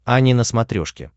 ани на смотрешке